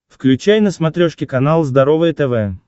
включай на смотрешке канал здоровое тв